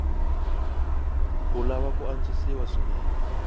wu lava ku antswisiwa swinene